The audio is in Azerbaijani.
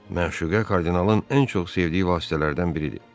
Məşuqə kardinalın ən çox sevdiyi vasitələrdən biridir.